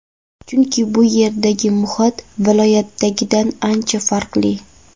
Chunki bu yerdagi muhit viloyatdagidan ancha farqli.